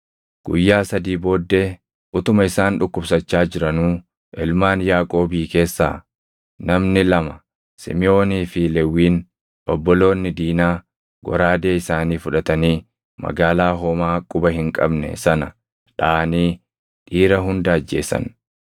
Guyyaa sadii booddee utuma isaan dhukkubsachaa jiranuu, ilmaan Yaaqoobii keessaa namni lama Simiʼoonii fi Lewwiin, obboloonni Diinaa, goraadee isaanii fudhatanii magaalaa homaa quba hin qabne sana dhaʼanii dhiira hunda ajjeesan.